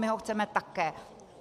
My ho chceme také.